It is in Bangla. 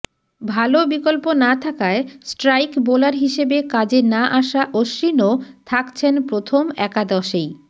ভাল বিকল্প না থাকায় স্ট্রাইক বোলার হিসেবে কাজে না আসা অশ্বিনও থাকছেন প্রথম একাদশেই